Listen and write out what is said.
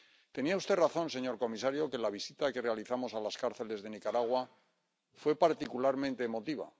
Tenía usted razón, señor comisario, que la visita que realizamos a las cárceles de Nicaragua fue particularmente emotiva.